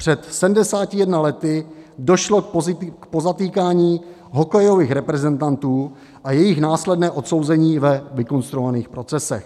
Před 71 lety došlo k pozatýkání hokejových reprezentantů a jejich následnému odsouzení ve vykonstruovaných procesech.